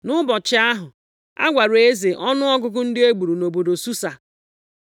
Nʼụbọchị ahụ, a gwara eze ọnụọgụgụ ndị e gburu nʼobodo Susa.